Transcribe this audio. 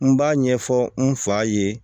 N b'a ɲɛfɔ n fa ye